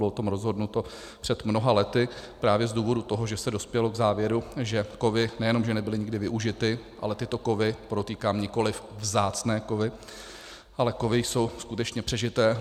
Bylo o tom rozhodnuto před mnoha lety právě z důvodu toho, že se dospělo k závěru, že kovy nejenom že nebyly nikdy využity, ale tyto kovy, podotýkám, nikoliv vzácné kovy, ale kovy jsou skutečně přežité.